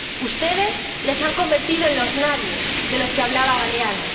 Ustedes les han convertido en los nadies de los que hablaba Galeano.